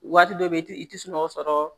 Waati dɔ bɛ i tɛ sunɔgɔ sɔrɔ